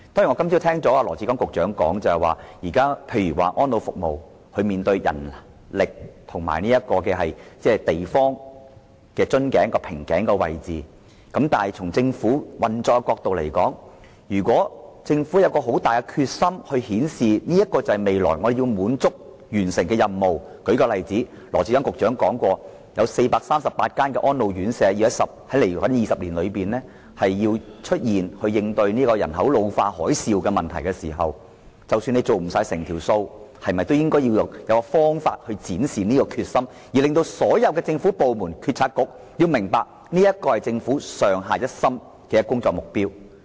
我今天早上聽到羅致光局長說，安老服務現時面對人力及土地出現瓶頸的問題，但從政府運作的角度來看，如果政府有極大決心顯示未來要完成這些任務——例如，羅局長曾經說過會於未來20年內增建438間安老院舍，以應對人口老化這個"海嘯"問題——即使未能做到，政府是否應設法展示決心，使所有政府部門和政策局明白這是政府上下一心的工作目標呢？